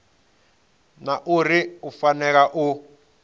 na uri u fanela u